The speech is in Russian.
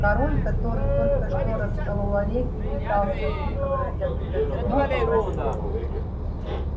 король который только что расколол орех и пытался выковырнуть оттуда зерно покраснел